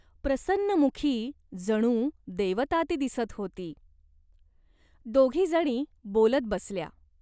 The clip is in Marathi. प्रसन्नमुखी जणू देवता ती दिसत होती. दोघीजणी बोलत बसल्या.